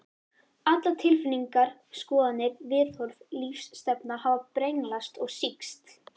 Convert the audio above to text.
Allar tilfinningar, skoðanir, viðhorf, lífsstefna hafa brenglast og sýkst.